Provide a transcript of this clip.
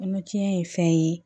Kɔnɔtiɲɛ ye fɛn ye